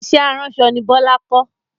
Iṣẹ́ aránṣọ ni Bọlá kọ́